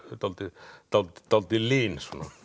dálítið dálítið dálítið lin